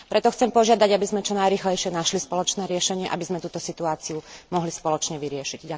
Preto chcem požiadať, aby sme čo najrýchlejšie našli spoločné riešenie, aby sme túto situáciu mohli spoločne vyriešiť.